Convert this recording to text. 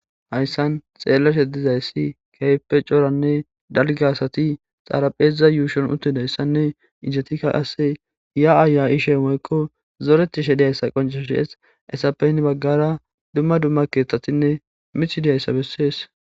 hayssan xeellashe dizayssi keype cooranne dalge asati xaarapheza yuushon uttidayssanne isetikka qase iya7aaya ishe moykko zoreti she diyayssa qonceshodi7es esapeyn baggara dumma dumma keeththatinne mithidiyayssa bessees